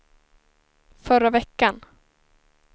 förra veckan